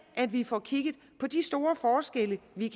at vi får kigget på de store forskelle vi